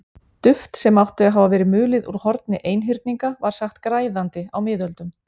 Duft sem átti að hafa verið mulið úr horni einhyrninga var sagt græðandi á miðöldum.